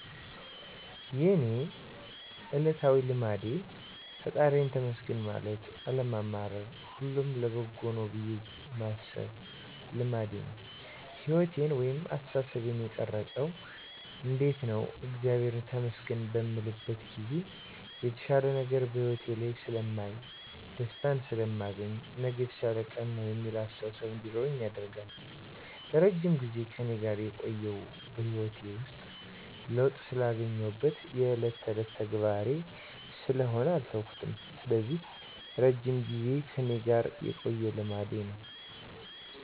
የእኔ እለታዊ ልማዴ ፈጣሪየን ተመስገን ማለት አለማማረር ሁሉም ለበጎ ነው ብየ ማሰብ ልማዴ ነው። ህይወቴን ወይንም አስተሳሰቤን የቀረፀው እንዴት ነው እግዚአብሔርን ተመስገን በምልበት ጊዜ የተሻለ ነገር በህይወቴ ላይ ስለማይ፣ ደስታን ስለማገኝ፣ ነገ የተሻለ ቀን ነው የሚል አስተሳሰብ እንዲኖረኝ ያደርጋል። ለረጅም ጊዜ ከእኔ ጋር የቆየው በህይወቴ ውስጥ ለውጥ ስላገኘሁበት የእለት ተእለት ተግባሬ ስለሆነ አልተውኩትም ስለዚህ እረጅም ጊዜን ከእኔ ጋር የቆየ ልማዴ ነው።